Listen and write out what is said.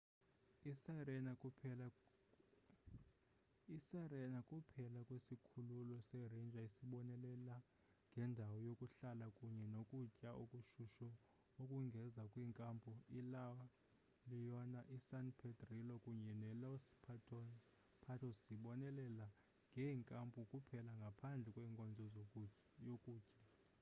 isirena kuphela kwesikhululo seranger esibonelela ngendawo yokuhlala kunye nokutya okushushu ukongeza kwinkampu ila leona isan pedrillo kunye nelos patos zibonelela ngeenkampu kuphela ngaphandle kwenkonzo yokutya